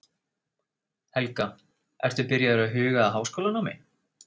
Helga: Ertu byrjaður að huga að háskólanámi?